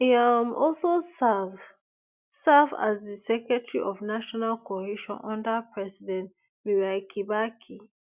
e um also serve serve as di secretary of national cohesion under president mwai kibaki